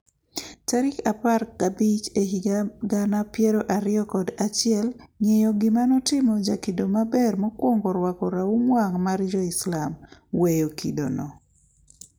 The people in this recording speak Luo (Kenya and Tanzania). Tarik apar gabich ehiga gana piero ariyo kod achiel ng'eyo gima notimo jakido maber mokwongo rwako raum wang' mar joislam? weyo kidono?